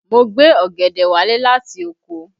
Mo gbé ọ̀gẹ̀dẹ̀ wálé láti oko